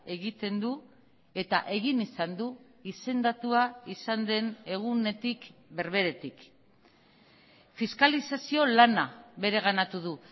egiten du eta egin izan du izendatua izan den egunetik berberetik fiskalizazio lana bereganatu du